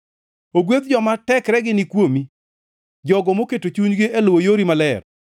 Ogwedh joma tekregi ni kuomi jogo moketo chunygi e luwo yori maler.